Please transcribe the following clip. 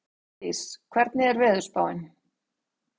Ardís, hvernig er veðurspáin?